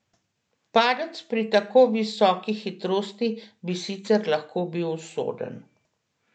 Padec pri tako visoki hitrosti bi sicer lahko bil usoden.